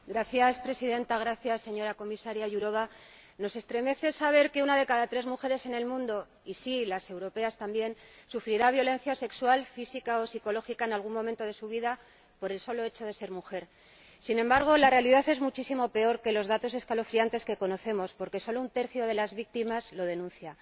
Señora Presidenta, señora Comisaria Jourová, nos estremece saber que una de cada tres mujeres en el mundo —y sí, las europeas también— sufrirá violencia sexual, física o psicológica en algún momento de su vida por el solo hecho de ser mujer. Sin embargo, la realidad es muchísimo peor que los datos escalofriantes que conocemos, porque solo un tercio de las víctimas lo denuncia.